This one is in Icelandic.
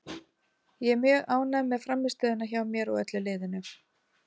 Ég er mjög ánægð með frammistöðuna hjá mér og öllu liðinu.